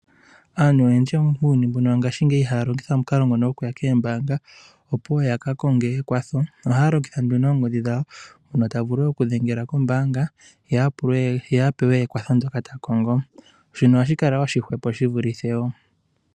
Aantu oyendji muuyuni muno ngaashingeyi ihaya longitha omukalo nguno goku ya kombaanga, opo ya ka konge ekwatho. Ohaya longitha oongodhi dhawo hono ta vulu okudhengela kombaanga ye pa ewe ekwatho ndyoka ta kongo. Shino ohashi kala oshihwepo shi vulithe okuya kombaanga.